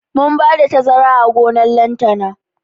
Mun bada tazara a gonan lantana